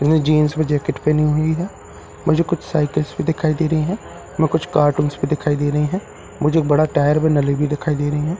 वे jeans में jacket पहनी हुई है मुझे कुछ साइकल्स भी दिखाई दे रही है व कुछ कार्टून्स भी दिखाई दे रहे है मुझे बड़ा टायर व नली भी दिखाई दे रहे है --